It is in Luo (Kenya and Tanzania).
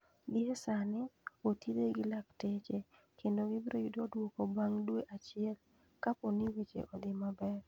Gie sani, othiedhe gi lakteche, kendo gibiro yudo dwoko bang' dwe achiel, kapo ni weche odhi maber.